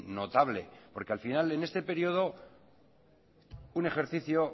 notable porque al final en este periodo un ejercicio